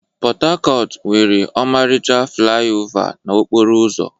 Pot-Tacotu nwere ọmarịcha flaiova n'okporo ụzọ.